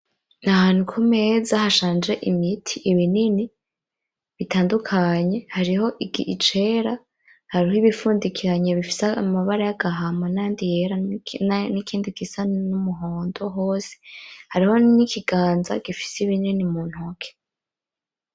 N'ahantu kumeza hashanje imiti ,ibinini bitadukanye hariho icera, hariho ibifudikiranye bifise amabara yagahama ,nayandi yera n’ikindi gisa numuhondo hose. Hariho n’ikiganza gifise ibinini muntoki.